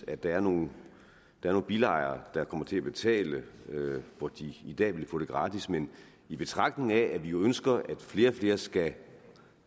at der er nogle bilejere der kommer til at betale hvor de i dag ville få det gratis men i betragtning af at vi jo ønsker at flere og flere skal